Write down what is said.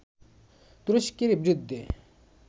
তুরস্কের বিরুদ্ধে